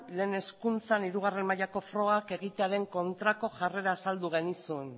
lehen hezkuntzan hirugarrena mailako frogak egitearen kontrako jarrera azaldu genizun